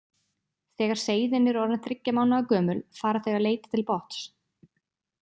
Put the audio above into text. Þegar seiðin eru orðin þriggja mánaða gömul fara þau að leita til botns.